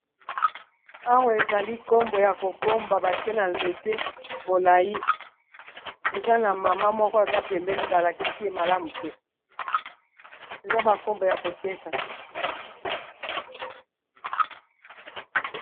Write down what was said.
Awa ezali nkombo ya kokomba batie na nzete molai, eza na mama moko aza pembeni balakisi ye malamu te eza bankombo ya koteka.